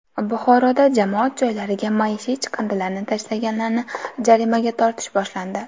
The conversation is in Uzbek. Buxoroda jamoat joylariga maishiy chiqindilarni tashlaganlarni jarimaga tortish boshlandi.